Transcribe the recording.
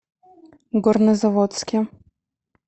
горнозаводске